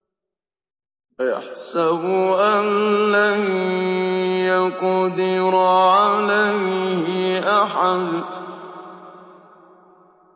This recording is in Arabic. أَيَحْسَبُ أَن لَّن يَقْدِرَ عَلَيْهِ أَحَدٌ